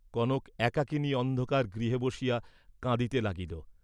কনক একাকিনী অন্ধকার গৃহে বসিয়া কাঁদিতে লাগিল।